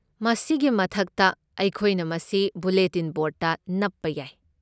ꯃꯁꯤꯒꯤ ꯃꯊꯛꯇ, ꯑꯩꯈꯣꯏꯅ ꯃꯁꯤ ꯕꯨꯂꯦꯇꯤꯟ ꯕꯣꯔꯗꯇ ꯅꯞꯄ ꯌꯥꯏ꯫